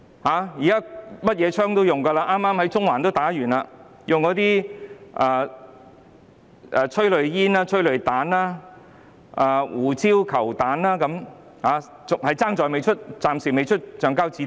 警方剛剛在中環使用催淚煙、催淚彈、胡椒球彈，暫時只欠橡膠子彈。